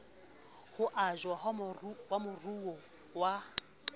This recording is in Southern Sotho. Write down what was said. ho ajwa ha maruo a